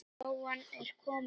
Lóan er komin fyrir nokkru.